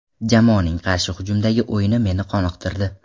Jamoaning qarshi hujumdagi o‘yini meni qoniqtirdi.